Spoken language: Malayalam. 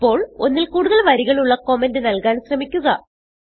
ഇപ്പോൾ ഒന്നിൽ കൂടുതൽ വരികളുള്ള കമന്റ് നല്കാൻ ശ്രമിക്കുക